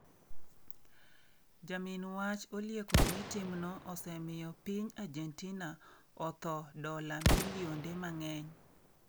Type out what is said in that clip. Jamin wach olieko ni timno osemiyo piny Argentina otho dola milionde mang'eny.